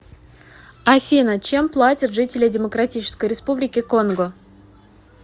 афина чем платят жители демократической республики конго